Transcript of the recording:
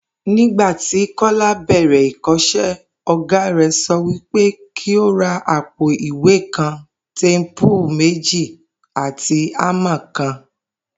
Nígbà tí Kó̩lá bè̩rè̩ ìkó̩s̩é̩, ò̩gá rè̩ so̩ wípé kí ó ra àpò ìwé kan, téèpù méjì àti ámà kan